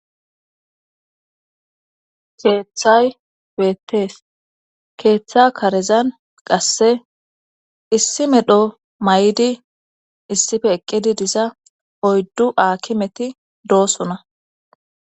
Keeththay weettees keeththa karezan qasse issi medho may7idi issife eqqidi disa oyddu aakimeti doosona